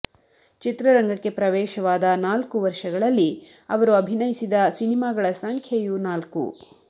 ಚಿತ್ರರಂಗಕ್ಕೆ ಪ್ರವೇಶವಾದ ನಾಲ್ಕು ವರ್ಷಗಳಲ್ಲಿ ಅವರು ಅಭಿನಯಿಸಿದ ಸಿನಿಮಾಗಳ ಸಂಖ್ಯೆಯೂ ನಾಲ್ಕು